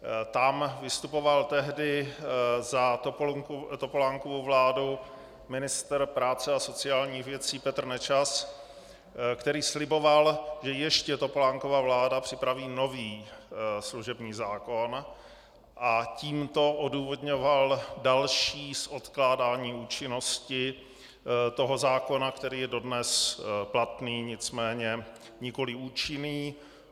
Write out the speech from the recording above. Tam vystupoval tehdy za Topolánkovu vládu ministr práce a sociálních věcí Petr Nečas, který sliboval, že ještě Topolánkova vláda připraví nový služební zákon, a tímto odůvodňoval další odkládání účinnosti toho zákona, který je dodnes platný, nicméně nikoli účinný.